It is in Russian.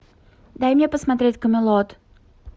дай мне посмотреть камелот